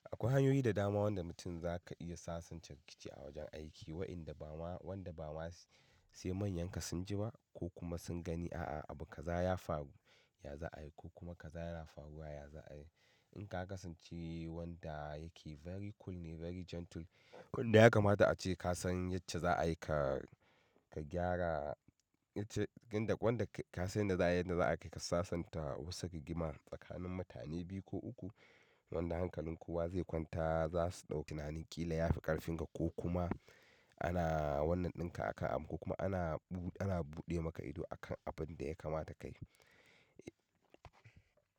Akwai hanyoyi da dama wanda mutum zaka iya sasanta rikici a wajen aiki, wa'inda bama, wanda ba ma sai manyanka sun ji ba ko kuma sun gani a'a abu kaza ya faru, ya za'a yi ko kuma kaza yana faruwa ya za'a yi. In ka kasance wanda yake very cool ne, very gentle, wanda ya kamata ace kasan yacce za'a yi ka, ka gyara, yace inda wanda ka san yanda za'ayi yanda za k ayi kai ka sasanta wasu rigima tsakanin mutane biyu ko uku wanda hankalin kowa zai kwanta za su ɗau tunani ƙila ya fi ƙarfin ka ko kuma ana wannan ɗinka akan abu ko kuma ana bu--, ana buɗe maka ido akan abinda ya kamata kayi.